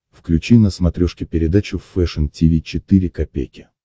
включи на смотрешке передачу фэшн ти ви четыре ка